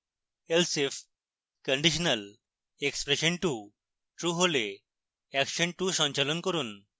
else if conditionalexpression2 true হলে action 2 সঞ্চালন করুন